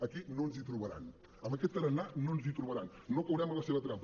aquí no ens hi trobaran amb aquest tarannà no ens hi trobaran no caurem a la seva trampa